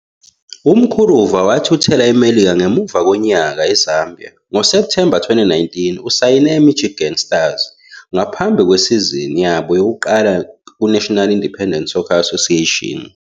UMkuruva wathuthela eMelika ngemuva konyaka eZambia. NgoSepthemba 2019, usayine neMichigan Stars ngaphambi kwesizini yabo yokuqala kuNational Independent Soccer Association.